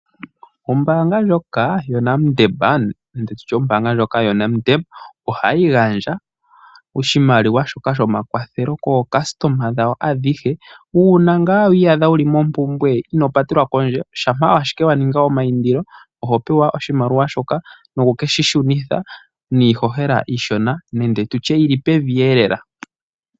Ombaanga ndjoka yo NedBank ohayi gandja oshimaliwa shoka sho makwathelo kaayakulwa yawo ayehe, uuna ngaa wa iyadha wuli mompumbwe ino patelwa kondje. Shampa ashike wa ninga ninga omaindilo oho pewa oshimaliwa shoka, noku keshi shunitha niihohela iishona nenge tutye yili pevi eelela.